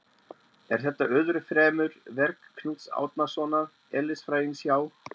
Er þetta öðru fremur verk Knúts Árnasonar eðlisfræðings hjá